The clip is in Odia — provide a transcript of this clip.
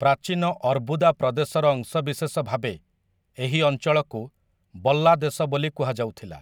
ପ୍ରାଚୀନ ଅର୍ବୁଦା ପ୍ରଦେଶର ଅଂଶବିଶେଷ ଭାବେ ଏହି ଅଞ୍ଚଳକୁ ବଲ୍ଲା ଦେଶ ବୋଲି କୁହାଯାଉଥିଲା ।